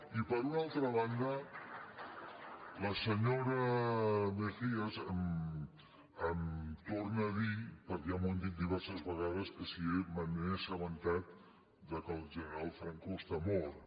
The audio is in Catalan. i per una altra banda la senyora mejías em torna a dir perquè ja m’ho han dit diverses vegades que si me n’he assabentat que el general franco està mort